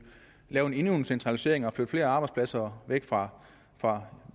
lave endnu en centralisering og flytte flere arbejdspladser væk fra fra